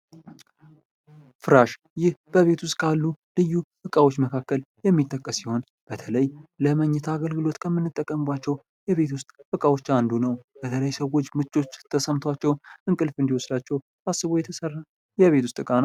ፍራሽ ይህ በቤት ውስጥ ካሉ ልዩ እቃዎች መካከል የሚጠቀስ ሲሆን በተለይ ለመኝታ አገልግሎት ከምንጠቀምባቸው የቤት ውስጥ እቃዎች አንዱ ነው። የሰው ልጆች ምቾት ተሰምቷቸው እንቅልፍ እንድወስዳቸው ታስቦ የተሰራ የቤት ውስጥ እቃ ነው።